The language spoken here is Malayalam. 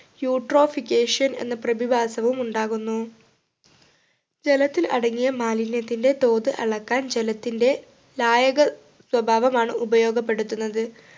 eutrophication എന്ന പ്രതിഭാസവും ഉണ്ടാകുന്നു ജലത്തിൽ അടങ്ങിയ മാലിന്യത്തിൻ്റെ തോത് അളക്കാൻ ജലത്തിൻ്റെ ലായക സ്വഭാവമാണ് ഉപയോഗപ്പെടുത്തുന്നത്